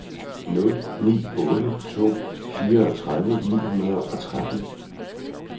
nul ni otte to fireogtredive ni hundrede og tretten